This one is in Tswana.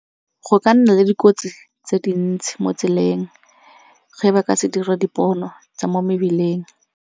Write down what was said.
Go ka nna le dikotsi tse dintsi mo tseleng ge ba ka se dire dipono tsa mo mebileng.